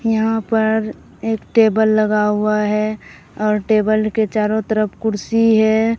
यहां पर एक टेबल लगा हुआ है और टेबल के चारो तरफ कुर्सी है।